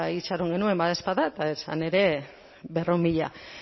itxaron genuen badaezpada eta zen ere berrehun mila